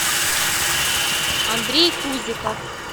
андрей кузиков